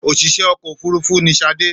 Òṣìṣẹ́ ọkọ̀-òfurufú ni Ṣadé.